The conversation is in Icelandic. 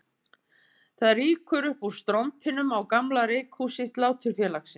Það rýkur upp úr strompinum á gamla reykhúsi Sláturfélagsins